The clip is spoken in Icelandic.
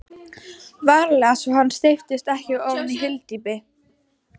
VARLEGA svo hann steypist ekki ofan í hyldýpið.